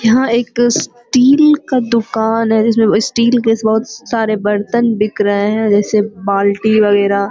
यहाँ एक स्टील का दुकान है। जिसमें स्टील का बहुत सारे बर्तन बिक रहे है। जैसे बाल्टी वगैरह --